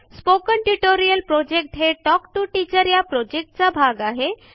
spoken tutorial project हे talk to teacher या प्रॉजेक्टचा एक भाग आहे